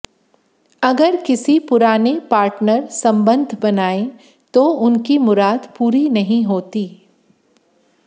अगर किसी पुराने पार्टनर संबंध बनाए तो उनकी मुराद पूरी नहीं होती